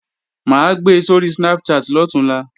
Mà á gbe sóri Snapchat lọ̀túnla